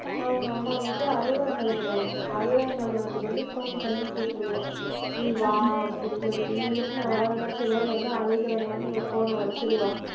அவங்க அம்மா வந்துட்டு, அறுபதாம் கல்யாணம் வரும். அறுபதாம் கல்யாணத்துக்கு வந்து phone பண்ணி கூப்பிடுவா. நீ வா அப்படின்னு சொல்லிட்டு. இவன் வந்துட்டு நான் வராத மாதிரி சொல்லுவான். இவ வந்து அழுகிற மாதிரி இவ phone ன வச்சிருவா.